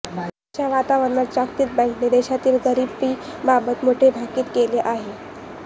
अशा वातावरणात जागतिक बँकेने देशातील गरिबीबाबत मोठे भाकित केले आहे